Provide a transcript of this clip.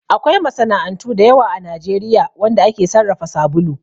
Akwai masana'antu da yawa a Najeriya wanda ake sarrafa sabulu